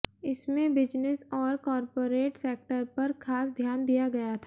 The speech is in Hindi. इसमें बिजनेस और कॉरपोरेट सेक्टर पर खास ध्यान दिया गया था